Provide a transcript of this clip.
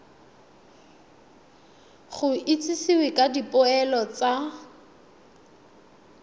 go itsisiwe ka dipoelo tsa